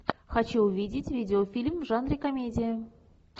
хочу увидеть видеофильм в жанре комедия